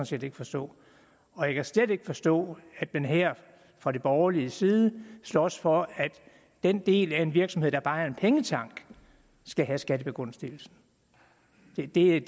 set ikke forstå og jeg kan slet ikke forstå at man her fra de borgerliges side slås for at den del af en virksomhed der bare er en pengetank skal have skattebegunstigelsen det er